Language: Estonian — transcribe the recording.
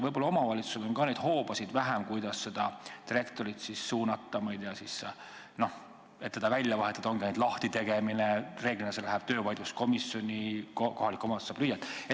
Aga omavalitsusel võib ka vähem olla neid hoobasid, kuidas direktorit suunata, ma ei tea, et teda välja vahetada, võimalik ongi ainult ametist lahti tegemine, kusjuures reeglina läheb see vaidlus töövaidluskomisjoni ja kohalik omavalitsus saab lüüa.